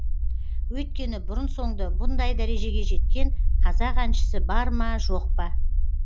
өйткені бұрын соңды бұндай дәрежеге жеткен қазақ әншісі бар ма жоқ па